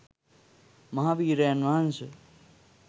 මහ වීරයන් වහන්ස